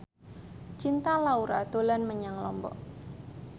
Cinta Laura dolan menyang Lombok